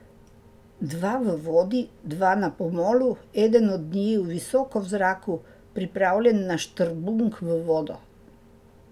Dva v vodi, dva na pomolu, eden od njiju visoko v zraku, pripravljen na štrbunk v vodo.